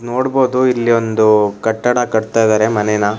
ನೋಡಬೋದು ಇಲ್ಲಿ ಒಂದು ಕಟ್ಟಡ ಕಟ್ಟುತ್ತಾ ಇದ್ದಾರೆ ಮನೇನ.